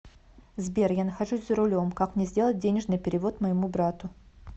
сбер я нахожусь за рулем как мне сделать денежный перевод моему брату